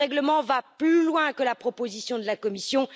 Le règlement va plus loin que la proposition de la Commission.